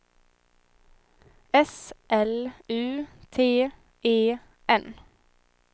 S L U T E N